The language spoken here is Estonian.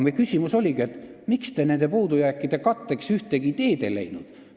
Meie küsimus oligi see, miks te nende puudujääkide katteks ühtegi ideed ei leidnud.